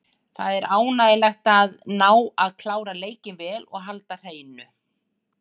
Það er ánægjulegt að ná að klára leikinn vel og halda hreinu.